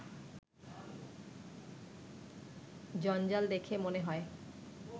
জঞ্জাল দেখে মনে হয়